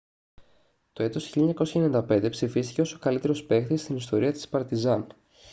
το έτος 1995 ψηφίστηκε ως ο καλύτερος παίκτης στην ιστορία της παρτιζάν